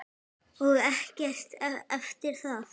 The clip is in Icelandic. Og ekkert eftir það.